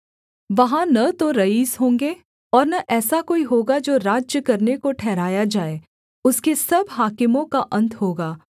वहाँ न तो रईस होंगे और न ऐसा कोई होगा जो राज्य करने को ठहराया जाए उसके सब हाकिमों का अन्त होगा